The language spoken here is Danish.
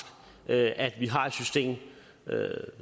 at vi har et system